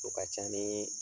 O ka can nii